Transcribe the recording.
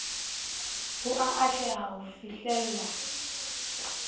ho a atleha ho fihlella